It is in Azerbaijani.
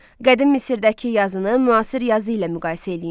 Qədim Misirdəki yazını müasir yazı ilə müqayisə eləyin.